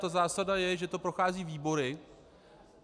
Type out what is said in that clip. Ta zásada je, že to prochází výbory.